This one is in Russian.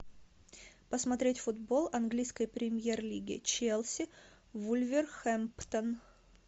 посмотреть футбол английской премьер лиги челси вулверхэмптон